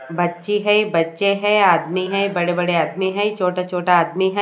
बच्ची है बच्चे है आदमी हैं बड़े-बड़े आदमी है छोटे-छोटे आदमी हैं।